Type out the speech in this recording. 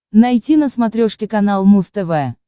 найти на смотрешке канал муз тв